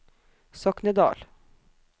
Soknedal